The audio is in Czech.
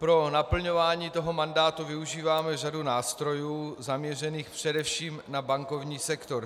Pro naplňování toho mandátu využíváme řadu nástrojů zaměřených především na bankovní sektor.